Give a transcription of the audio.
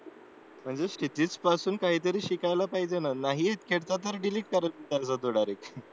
म्हणजे क्षितिज पासून काहीतरी शिकायला पाहिजे नाहीच घेतला तर डिलीट करत चालायचा तो डायरेक्ट